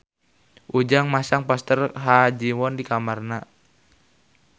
Ujang masang poster Ha Ji Won di kamarna